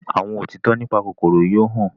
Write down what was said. àwọn òtítọ nípa kòkòrò yóò hàn.